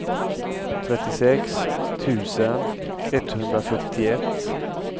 trettiosex tusen etthundrafyrtioett